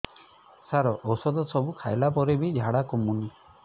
ସାର ଔଷଧ ସବୁ ଖାଇଲା ପରେ ବି ଝାଡା କମୁନି